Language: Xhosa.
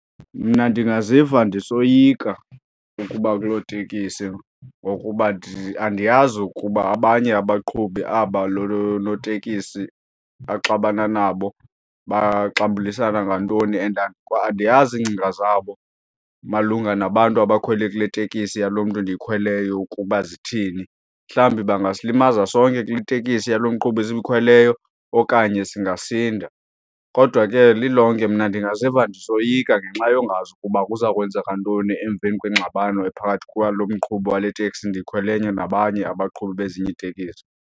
Mna ndingaziva ndisoyika ukuba kuloo tekisi ngokuba andiyazi ukuba abanye abaqhubi aba lo notekisi axabana nabo, baxambulisana ngantoni and andiyazi iingcinga zabo malunga nabantu abakhwele kule teksi yalo mntu endiyikhweleyo ukuba zithini. Mhlawumbi bangasilimaza sonke kule tekisi yalo mqhubi esiyikhweleyo okanye singasinda. Kodwa ke lilonke mna ndingaziva ndisoyika ngenxa yongazi ukuba kuza kwenzeka ntoni emveni kwengxabano ephakathi kwalo mqhubi wale teksi ndikhweleyo nabanye abaqhubi bezinye iitekisi.